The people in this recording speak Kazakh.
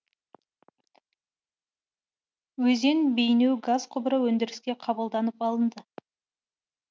өзен бейнеу газ құбыры өндіріске қабылданып алынды